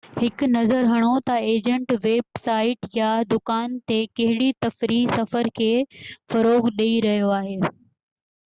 هڪ نظر هڻو تہ ايجنٽ ويب سائيٽ يا دڪان تي ڪهڙي تفريحي سفر کي فروغ ڏيئي رهيو آهي